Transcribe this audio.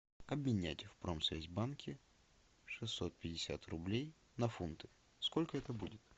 обменять в промсвязьбанке шестьсот пятьдесят рублей на фунты сколько это будет